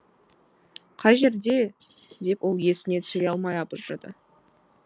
қай жерде деп ол есіне түсіре алмай абыржыды